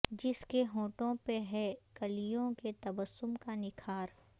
جس کے ہونٹوں پہ ہے کلیوں کے تبسم کا نکھار